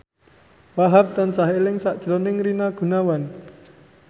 Wahhab tansah eling sakjroning Rina Gunawan